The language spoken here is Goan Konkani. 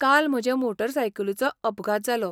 काल म्हजे मोटरसायकलीचो अपघात जालो.